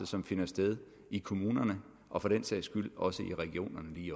som finder sted i kommunerne og for den sags skyld også i regionerne lige i